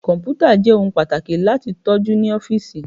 Kọmputa jẹ ohun pataki lati tọju ni ọfiisi